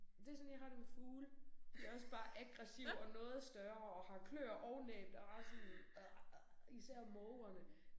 Det sådan jeg har det med fugle. De også bare aggressive og noget større og har klør og næb der bare sådan især mågerne